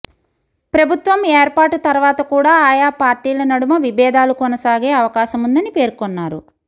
ప్రభుత్వం ఏర్పాటు తర్వాత కూడా ఆయా పార్టీల నడుమ విభేదాలు కొనసాగే అవకాశముందని పేర్కొన్నారు